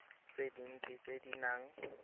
tse dintsi tse di nang